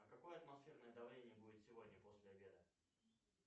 а какое атмосферное давление будет сегодня после обеда